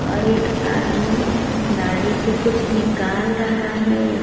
और एक आदमी गाड़ी से कुछ निकाल रहा है।